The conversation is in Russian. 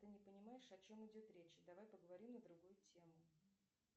ты не понимаешь о чем идет речь давай поговорим на другую тему